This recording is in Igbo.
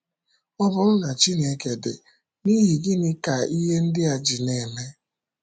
Ọ bụrụ na Chineke dị, n’ihi gịnị ka ihe ndị a ji na - eme?